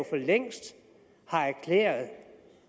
for længst erklæret